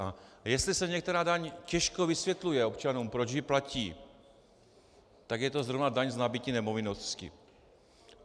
A jestli se některá daň těžko vysvětluje občanům, proč ji platí, tak je to zrovna daň z nabytí nemovitosti.